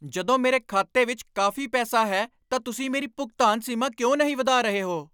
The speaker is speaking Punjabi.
ਜਦੋਂ ਮੇਰੇ ਖਾਤੇ ਵਿੱਚ ਕਾਫ਼ੀ ਪੈਸਾ ਹੈ ਤਾਂ ਤੁਸੀਂ ਮੇਰੀ ਭੁਗਤਾਨ ਸੀਮਾ ਕਿਉਂ ਨਹੀਂ ਵਧਾ ਰਹੇ ਹੋ?